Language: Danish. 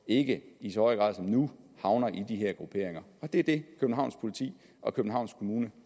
ikke i så høj grad som nu havner i de her grupperinger og det er det københavns politi og københavns kommune